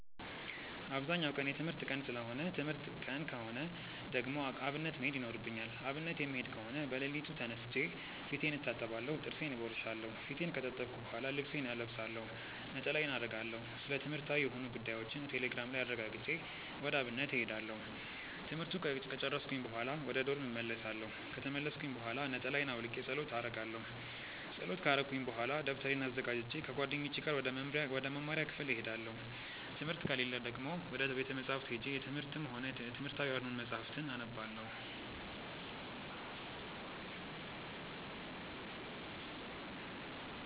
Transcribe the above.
አብዛኛው ቀን የትምህርት ቀን ሰለሆነ ትምህርት ቀን ከሆነ ደግሞ አብነት መሄድ ይኖርብኛል። አብነት የምሄድ ከሆነ በለሊቱ ተነስቼ ፊቴን እታጠባለሁ ጥርሴን እቦርሻለው። ፊቴን ከታጠብኩ በሆላ ልብሴን እለብሳለሁ፣ ነጠላዬን አረጋለሁ፣ ስለትምህርትዊ የሆኑ ጉዳዮችን ቴሌግራም ላይ አረጋግጬ ወደ አብነት እሄዳለሁ። ትምህርቱን ከጨርስኩኝ በሆላ ወደ ዶርም እመልሳለው። ከተመለስኩኝ ብሆላ ነጠላየን አውልቄ ፀሎት አረጋለው። ፀሎት ከረኩኝ በሆላ ደብተሬን አዘጋጅቼ ከጓደኞቼ ጋር ወደ መምሪያ ክፍል እሄዳለው። ትምህርት ከሌለ ደግሞ ወደ ቤተ መፅሀፍት ሄጄ የትምህርትም ሆነ የትምህርታዊ ያልሆኑ መፅሀፍትን አነባለው።